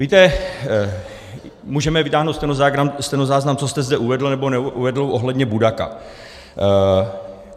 Víte, můžeme vytáhnout stenozáznam, co jste zde uvedl nebo neuvedl ohledně Budaka.